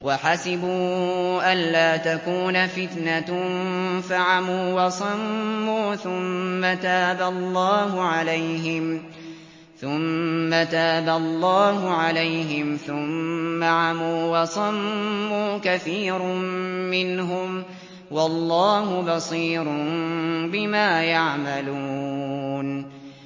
وَحَسِبُوا أَلَّا تَكُونَ فِتْنَةٌ فَعَمُوا وَصَمُّوا ثُمَّ تَابَ اللَّهُ عَلَيْهِمْ ثُمَّ عَمُوا وَصَمُّوا كَثِيرٌ مِّنْهُمْ ۚ وَاللَّهُ بَصِيرٌ بِمَا يَعْمَلُونَ